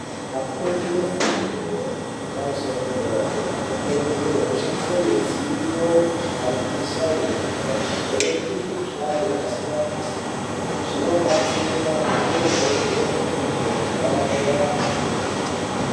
Afundi efundo yepamusoro yedera-dera anokurudzirwe kushandise midziyo yesainzi achivheneke mukuhlani yakasiyana-siyana zvinobatsira zvoite madhokodheya naana mukoti arape anhu nemazvo.